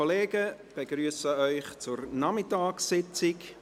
Ich begrüsse Sie zur Nachmittagssitzung.